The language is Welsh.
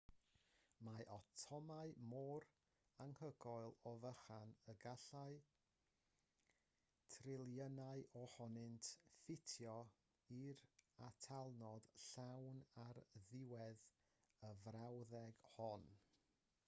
mae atomau mor anhygoel o fychan y gallai triliynau ohonynt ffitio i'r atalnod llawn ar ddiwedd y frawddeg hon